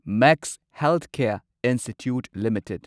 max Healthcare Institute limited